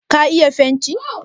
ka iya fenti?